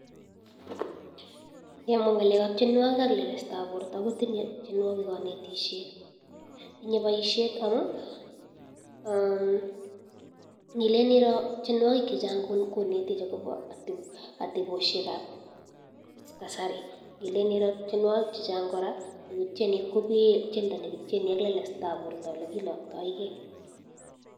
Ngalek ab tienwagik ak lelesta ab borta kotinye tienwagik kanetishet tinye baishet Nile Iro tienwagik chechang konerech akobo ateboshek ab kasari kelele tienwagik chechang kabisa kotieni ak lelesta ab borta olekilaktaegei